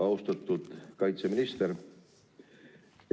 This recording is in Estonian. Austatud kaitseminister!